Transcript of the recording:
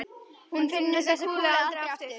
Hún finnur þessa kúlu aldrei aftur.